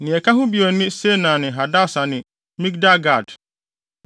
Nea ɛka ho bio ne Senan ne Hadasa ne Migdal-gad,